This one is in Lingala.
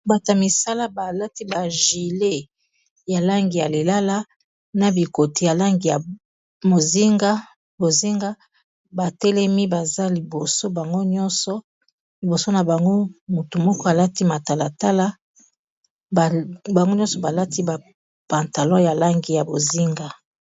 Batu ya misala balati ba gilet ya langi ya lilala na bikoti ya langi ya bozinga batelemi baza liboso bango nyonso liboso na bango motu moko alati matalatala bango nyonso balati ba pantalon ya langi ya bozinga.